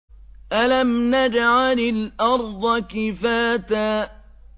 أَلَمْ نَجْعَلِ الْأَرْضَ كِفَاتًا